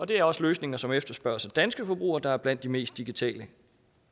det er også løsninger som efterspørges af danske forbrugere der er blandt de mest digitale